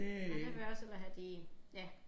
Men der vil jeg også hellere have de ja